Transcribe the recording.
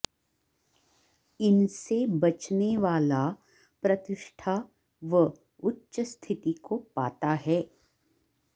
इनसे बचने वाला प्रतिष्ठा व उच्च स्थिति को पाता है